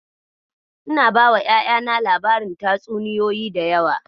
Ina bawa ƴaƴana labarin tatsuniyoyi da yawa.